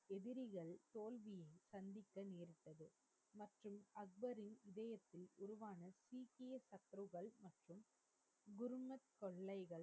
தொல்லைகள்,